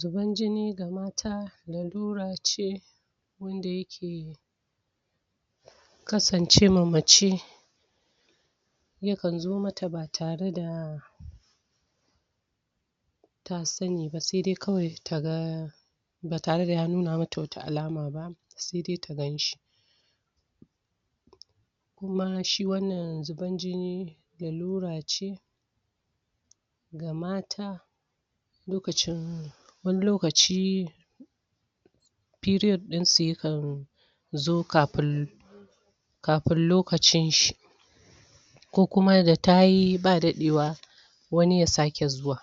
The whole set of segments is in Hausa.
zuban jini ga mata lalurace wanda yake kasancema mace yakan zo mata batare da ta saniba sedai kawai daga batare da ya nuna mata wani alama ba sedai ta ganshi kuma shi wannan zuban jini lalurace ga mata lokacin wani lokaci al'adansu yakan zo kafin kafin lokacin shi ko kuma da tayi ba dadewa wani yasake zuwa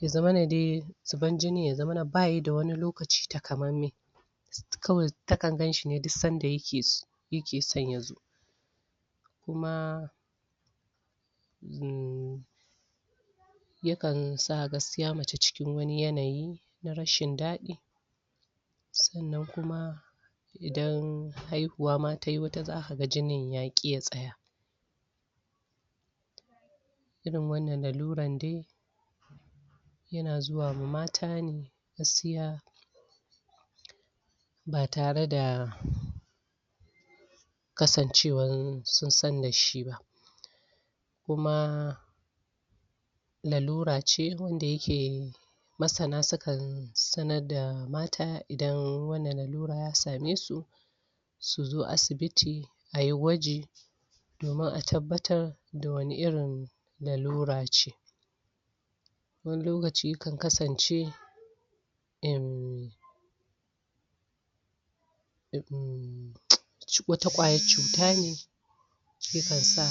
yazamana dai zuban jinin yazamana bayi da wani lokaci takamanmai kawai takan ganshine duk sanda yake yake son yazo kuma yakansa gaskiya mace cikin wani yanayi na rashin daɗi sannan kuma idan haihuwa ma tayi wata zakaga jini ma ya ƙi ya tsaya irin wannan laluran dai yana zuwama matane gaskiya batara da kasan cewan sunsan dashi ba kuma lalurace wanda yake masana sukan sanar da mata idan wannan lalura ya samesu suzo asibiti ayi gwaji domun a tabbatar dawani irin lalura ce wani lokaci yakan kasance in wata ƙwayar cutane yakansa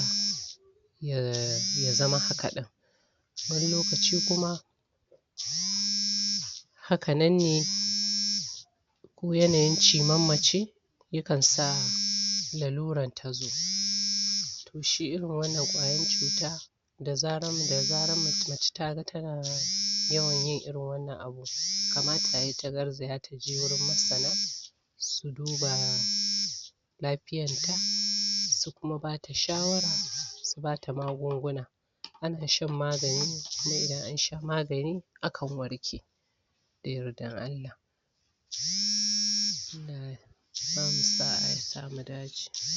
yazama haka ɗin wani lokaci kuma haka nan ne ko yanayin ciman mace yakansa laluran ta tazo shi irin wannan ƙwayan cuta dazaran mace taga tana yawanyin irin wannan abu kamata yayi tagar zaya taje gurin masana suduba lafiyan ta su kuma bata shawara subata magunguna ana shan magani kuma idan ansha magani akan warke da yardan Allah